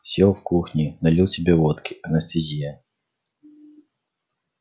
сел в кухне налил себе водки анестезия